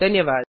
धन्यवाद